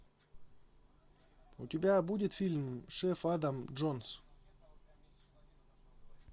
у тебя будет фильм шеф адам джонс